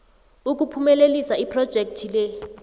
ukuphumelelisa iphrojekhthi le